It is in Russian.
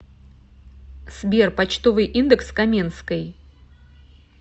сбер почтовый индекс каменской